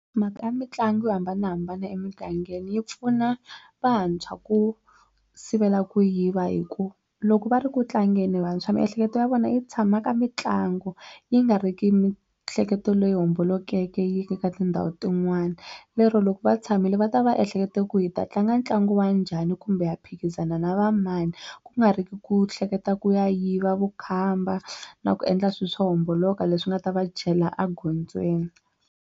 Mhaka ya mitlangu yo hambanahambana emugangeni yi pfuna vantshwa ku sivela ku yiva hi ku loko va ri ku tlangeni vantshwa miehleketo ya vona yi tshama ka mitlangu yi nga ri ki mi ehleketo leyi hombolokeke yi yeke ka tindhawu tin'wani lero loko va tshamile va ta va ehlekete ku hi ta tlanga ntlangu wa njhani kumbe hi ya phikizana na va mani ku nga ri ki ku hleketa ku ya yiva vukhamba na ku endla swilo swo homboloka leswi nga ta va chela egondzweni.